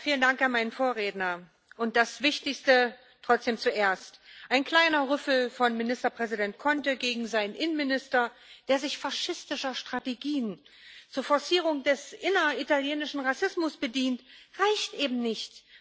Frau Präsidentin! Vielen Dank an meinen Vorredner. Und das Wichtigste trotzdem zuerst Ein kleiner Rüffel von Ministerpräsident Conte gegen seinen Innenminister, der sich faschistischer Strategien zur Forcierung des inneritalienischen Rassismus bedient, reicht eben nicht.